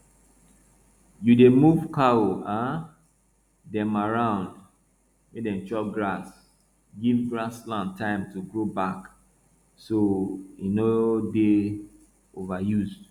you dey move cow um dem around make dem chop grass give grassland time to grow back so e no dey overuse